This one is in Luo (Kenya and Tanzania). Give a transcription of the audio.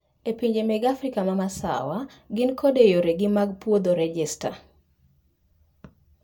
Epinje mag afrika ma masawa ni kod yore gi mag pwodho rejesta